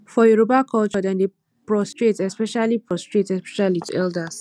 for yoruba culture dem dey prostrate especially prostrate especially to elders